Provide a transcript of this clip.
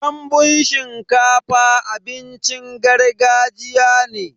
Danbun shinkafa abincin gargajiya ne.